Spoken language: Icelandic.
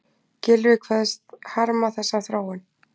Gylfi kveðst harma þessa þróun